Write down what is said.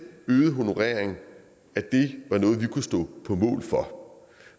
øgede honorering var noget vi kunne stå på mål for